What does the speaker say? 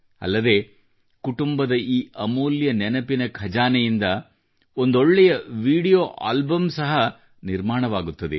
ಅಲ್ಲದೆ ಕುಟುಂಬದ ಈ ಅಮೂಲ್ಯ ನೆನಪಿನ ಖಜಾನೆಯನ್ನು ನೀವು ಒಂದೊಳ್ಳೆಯ ವಿಡಿಯೋ ಆಲ್ಬಮ್ ನಂತೆಯೂ ನಿರ್ಮಿಸಬಹುದು